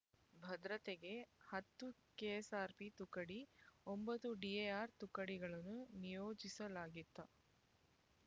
ಭದ್ರತೆಗೆ ಹತ್ತು ಕೆಎಸ್ಆರ್‌ಪಿ ತುಕಡಿ ಒಂಬತ್ತು ಡಿಎಆರ್ ತುಕಡಿಗಳನ್ನು ನಿಯೋಜಿಸಲಾಗಿತ್ತ